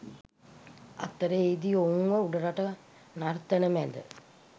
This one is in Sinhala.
අතර එහිදී ඔවුන්ව උඩරට නර්තන මැද